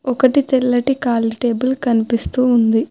ఒకటి తెల్లటి ఖాళీ టేబుల్ కనిపిస్తూ ఉంది.